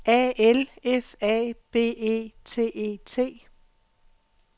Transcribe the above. A L F A B E T E T